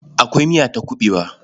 Akwai miya ta kuɓewa.